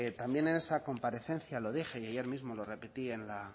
también en esa comparecencia lo dije y ayer mismo lo repetí